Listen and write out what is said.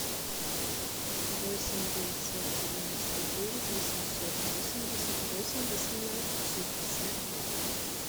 восемь девятьсот девяносто девять восемьсот восемьдесят восемь восемнадцать шестьдесят два